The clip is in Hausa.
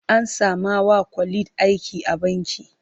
An sama wa Khalid aiki a banki.